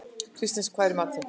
Kristens, hvað er í matinn?